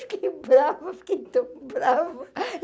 Fiquei brava, fiquei tão brava.